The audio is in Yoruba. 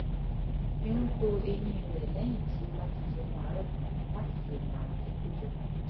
fi ń to eyín rẹ̀ lẹ́yìn tí ó bá ti jẹun àárọ̀ tán láti dèènà ààrùn kíkójọ